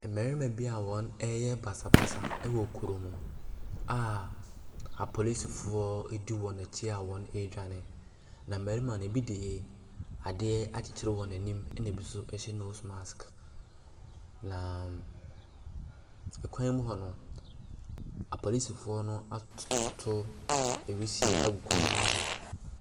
Mmarima bi a wɔreyɛ basabasa wɔ kurom a apolisifoɔ di wɔn akyi a wɔredwane, na mmarima no, ebi de adeɛ akyekyere wɔn anim ɛnna ebi nso hyɛ nose mask, na kwan mu hɔ no, apolisifoɔ no at toto wisie agu kwan no mu hɔ.